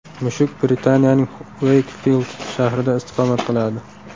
Mushuk Britaniyaning Ueykfild shahrida istiqomat qiladi.